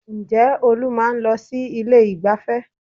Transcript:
Ǹjẹ́ Olú máa ń lọ sí ilé ìgbáfẹ́?